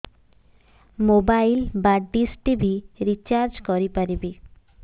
mobile ବା dish TV recharge କରି ପାରିବି